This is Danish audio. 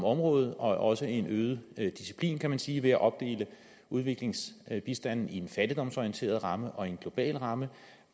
området og også en øget disciplin kan man sige ved at opdele udviklingsbistanden i en fattigdomsorienteret ramme og en global ramme